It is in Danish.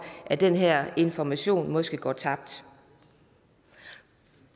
at den her information måske går tabt